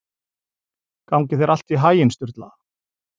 Gangi þér allt í haginn, Sturla.